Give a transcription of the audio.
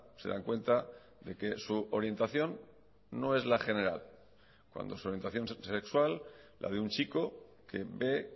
se dan cuenta de que su orientación no es la general cuando su orientación sexual la de un chico que ve